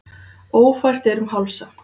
Ófært er um Hálsa